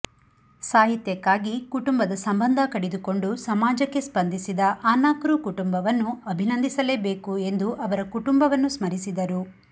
ಸಾಹಿತ್ಯಕ್ಕಾಗಿ ಕುಟುಂಬದ ಸಂಬಂಧ ಕಡಿದುಕೊಂಡು ಸಮಾಜಕ್ಕೆ ಸ್ಪಂದಿಸಿದ ಅನಕೃ ಕುಟುಂಬವನ್ನು ಅಭಿನಂದಿಸಲೇ ಬೇಕು ಎಂದು ಅವರ ಕುಟುಂಬವನ್ನು ಸ್ಮರಿಸಿದರು